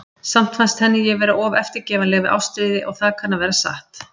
Samt fannst henni ég vera of eftirgefanleg við Ástríði, og það kann að vera satt.